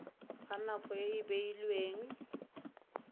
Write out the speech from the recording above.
ga nako e e beilweng